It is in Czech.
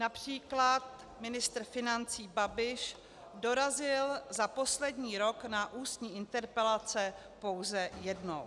Například ministr financí Babiš dorazil za poslední rok na ústní interpelace pouze jednou.